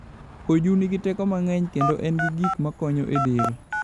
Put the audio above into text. Oju nigi teko mang'eny kendo en gi gik makonyo del.